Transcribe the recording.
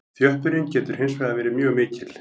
Þjöppunin getur hins vegar verið mjög mikil.